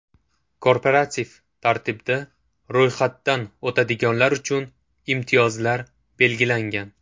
Korporativ tartibda ro‘yxatdan o‘tadiganlar uchun imtiyozlar belgilangan.